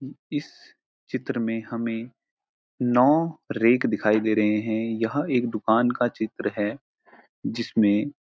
इस चित्र में हमें नौ रेख दिखाई दे रहे हैं यह एक दुकान का चित्र है जिसमें --